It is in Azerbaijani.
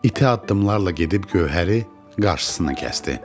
İti addımlarla gedib gövhəri qarşısını kəsdi.